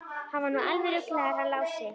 Hann er nú alveg ruglaður hann Lási.